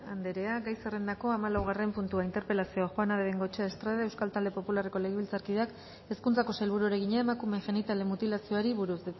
anderea gai zerrendako hamalaugarren puntua interpelazioa juana de bengoechea estrade euskal talde popularreko legebiltzarkideak hezkuntzako sailburuari egina emakumeen genitalen mutilazioari buruz